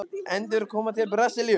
Endurkoma til Brasilíu?